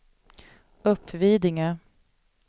Uppvidinge